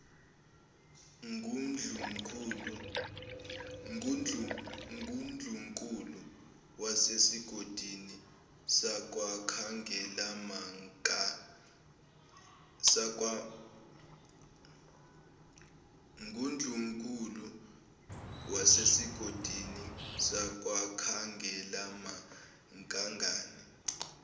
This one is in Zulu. ngundlunkulu wasesigodlweni sakwakhangelamankengane